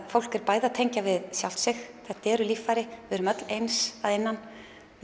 fólk er bæði að tengja við sjálft sig þetta eru líffæri við erum öll eins að innan